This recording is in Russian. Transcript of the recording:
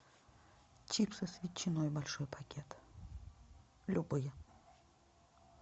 чипсы с ветчиной большой пакет любые